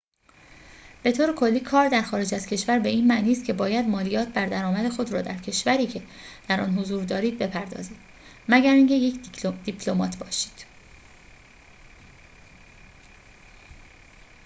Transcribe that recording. به‌طورکلی کار در خارج از کشور به این معنی است که باید مالیات بر درآمد خود را در کشوری که در آن حضور دارید بپردازید مگر اینکه یک دیپلمات باشید